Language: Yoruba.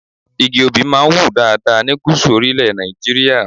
Igi Obì máa ń wù dáadáa ní Gúsù orílẹ̀ Nàìjíríà.